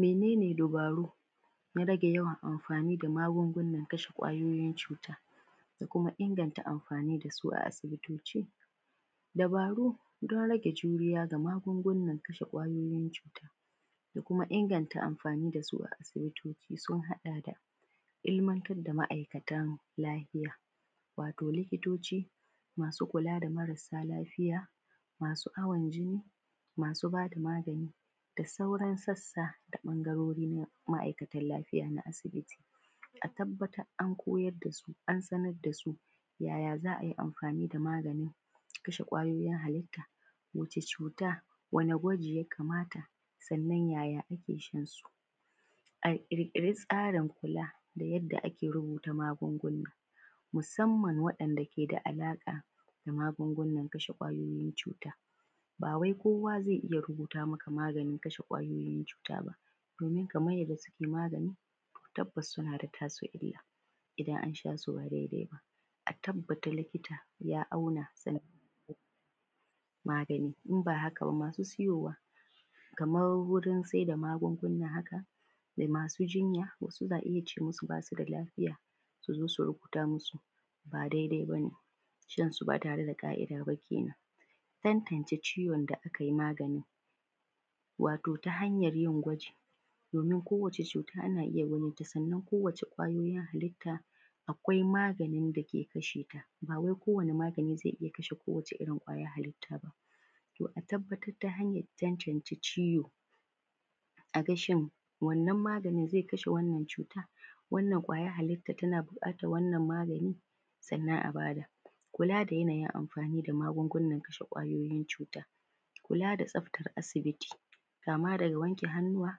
Mene ne dubaru na rage yawan amfani da magungunan kashe ƙwayoyin cuta da kuma ingantan amfani dasu a asibitoci? Dabaru don rage juriya ga magungunan kashe ƙwayoyin cuta da kuma inganta amfani dasu a asibitoci sun haɗa da: Ilmanta da ma’aikatan lafiya, wato likitoci masu kula da marasa lafiya, masu awon jini, masu bada magani da sauran sassa da ɓangarori na ma’aikatan lafiya na asibiti. A tabbatar an koyar dasu, an sanar dasu yaya za ai amfani da maganin kashe ƙwayoyin halitta, wace cuta? Wane gwaje ya kamata? Sannan yaya ake shansu? A ƙirƙiri tsarin kula da yadda ake rubuta magunguna musamman waɗanda ke da alaƙa da magungunan kashe ƙwayoyin cuta, ba wai kowa zai iya rubuta maka maganin kashe ƙwayoyin cuta ba, domin kamar yadda suke magani tabbas suna da tasir illar illar idan an shasu ba daidai ba,a tabbata likita ya auna sannan magani, in ba haka ba masu siyowa kamar wurin sai da magunguna haka, da masu jinya wasu in kace musu basu da lafiya su zo su rubuta musu ba daidai bane, shansu ba tare da ka’ida ba kenen. Tantance ciwon da akai magani, wato ta hanyar yin gwaji, domin kowace cuta ana iya ganinta, sannan kowace ƙwayoyin halitta akwai maganin dake kasheta bawai kowani maganin zai iya kashe kowace irin ƙwayar halitta ba. To a tabbatar ta hanyar tantance ciwo, aga shin wannan maganin zai kashe wannan cuta? Wannan ƙwayar halittan tana buƙatan wannan maganin? Sannan abada. Kula da yanayin magungunan kashe ƙwayoyin cuta. Kula da tsaftan asibiti, kama daga wanke hannuwa,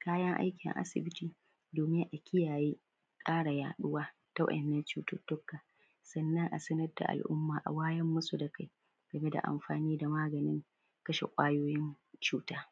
kayan aikin asibiti, domin a kiyayye ƙara yaɗuwa ta wa’innan cututuka, sannan a sanar da al’umma a wayar musu da kai game da amfani da maganin kashe ƙwayoyin cuta.